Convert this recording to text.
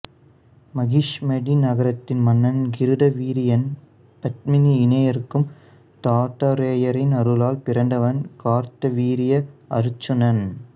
மகிஷ்மதி நகரத்தின் மன்னன் கிருதவீரியன் பத்மினி இணையருக்கு தத்தாத்ரேயரின் அருளால் பிறந்தவன் கார்த்தவீரிய அருச்சுனன்